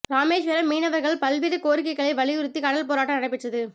ராமேஸ்வரம் மீனவர்கள பல் வேறு கோரிக்கைகளை வழியுறுத்தி கடல் போராட்டம் நடைபெற்றது